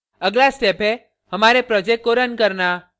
अगला step है हमारे project को रन करना